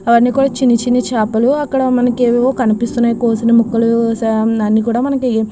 అన్ని చిన్న చిన్న చాపలు ఏవో ఏవో కనిపిస్తున్నయి కోసిన ముక్కలు అన్ని కూడా మనకి --